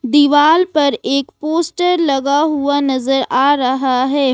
दीवाल पर एक पोस्टर लगा हुआ नजर आ रहा है।